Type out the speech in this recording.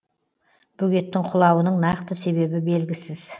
бөгеттің құлауының нақты себебі белгісіз